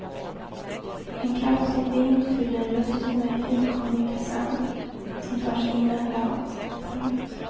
En kraftig vind fyller luften med finkornig sand som tar sig in överallt. punkt